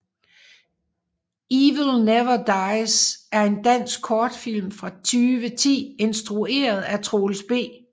Evil never dies er en dansk kortfilm fra 2010 instrueret af Troels B